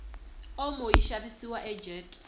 omo yishavisiwa ajet